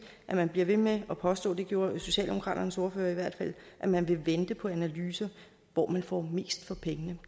man bliver ved med at påstå det gjorde socialdemokraternes ordfører i hvert fald at man vil vente på analyser af hvor man får mest for pengene